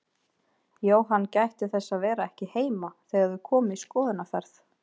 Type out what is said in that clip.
Jóhann gætti þess að vera ekki heima þegar þau komu í skoðunarferð.